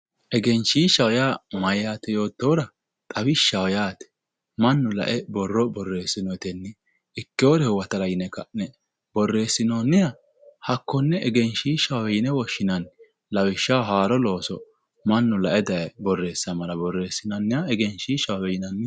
egenshiishshaho yaa mayyaate yoottohura xawishshaho yaate mannu lae borro boreessinenna ikkeyoore huwatara ka'ne borreessinanniha lawishshaho haaro looso mannu lae daye borreessamara borreessinanniha egenshiishshahowe yinanni